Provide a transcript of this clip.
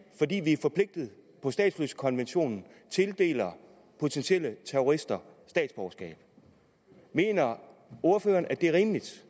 fordi vi er forpligtet på statsløsekonventionen tildeler potentielle terrorister statsborgerskab mener ordføreren at det er rimeligt